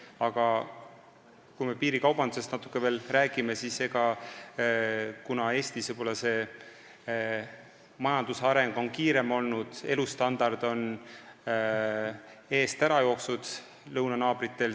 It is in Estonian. Aga kui piirikaubandusest natuke veel rääkida, siis Eestis on majanduse areng kiirem olnud ja elustandard lõunanaabrite eest ära jooksnud.